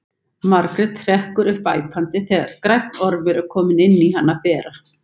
Margrét hrekkur upp æpandi þegar grænn ormur er kominn inn á hana bera.